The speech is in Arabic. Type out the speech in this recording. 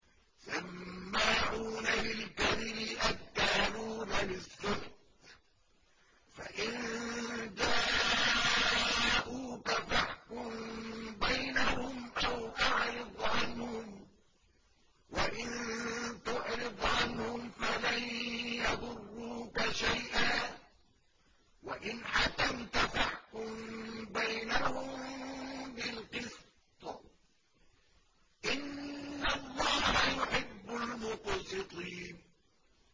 سَمَّاعُونَ لِلْكَذِبِ أَكَّالُونَ لِلسُّحْتِ ۚ فَإِن جَاءُوكَ فَاحْكُم بَيْنَهُمْ أَوْ أَعْرِضْ عَنْهُمْ ۖ وَإِن تُعْرِضْ عَنْهُمْ فَلَن يَضُرُّوكَ شَيْئًا ۖ وَإِنْ حَكَمْتَ فَاحْكُم بَيْنَهُم بِالْقِسْطِ ۚ إِنَّ اللَّهَ يُحِبُّ الْمُقْسِطِينَ